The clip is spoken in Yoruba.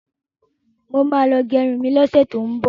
Mo ma lọ gẹrun mi lọ́sẹ̀ tó ń bọ̀.